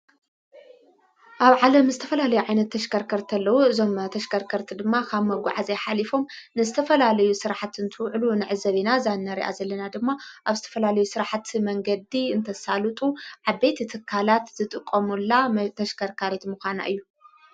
ኣብ ዓለ ምስ ተፈላለይ ዓይነት ተሽከርከርተለዉ እዞም ተሽከርከርቲ ድማ ኻብ መጕዕ እዘይኃሊፎም ንስተፈላልዩ ሥርሕትን ትውዕሉ ንዕ ዘቤና ዛነርያ ዘለና ድማ ኣብ ስተፈላለዩ ሥርሕቲ መንገዲ እንተሳሉጡ ዓቤት ትካላት ዝጥቆሙላ ተሽከርካሬት ምዃና እዩ።